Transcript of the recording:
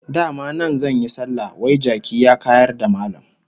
Dama nan zan yi sallah, wai jaki ya kayar da Mallam!